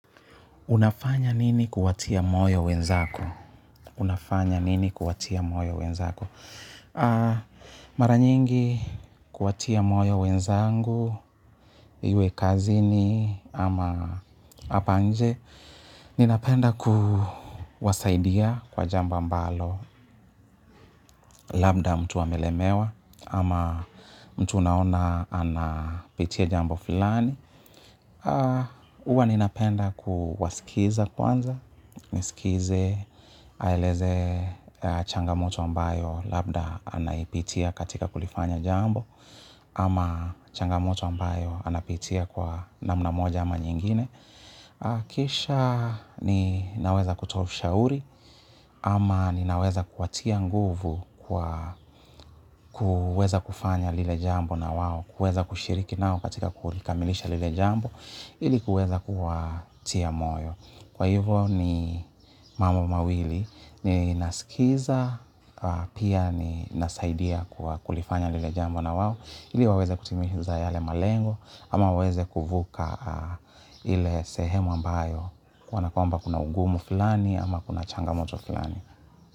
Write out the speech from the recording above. Unafanya nini kuwatia moyo wenzako? Unafanya nini kuwatia moyo wenzako? Mara nyingi kuwatia moyo wenzangu, iwe kazini ama hapa nje, ninapenda kuwasaidia kwa jambo ambalo, labda mtu amelemewa ama mtu unaona anapitia jamba fulani. Huwa ninapenda kuwasikiza kwanza, nisikize aeleze changamoto ambayo labda anaipitia katika kulifanya jambo. Ama changamoto ambayo anapitia kwa namna moja ama nyingine. Kisha ninaweza kutoa ushauri. Ama ninaweza kuwatia nguvu kwa kuweza kufanya lile jambo na wao kuweza kushiriki nao katika kulikamilisha lile jambo ili kuweza kuwatia moyo. Kwa hivo ni mambo mawili, ninasikiza, pia ninasaidia kulifanya lile jambo na wao, ili waweze kutimiza yale malengo, ama waweze kuvuka ile sehemu ambayo, kanakwamba kuna ugumu fulani, ama kuna changamoto fulani.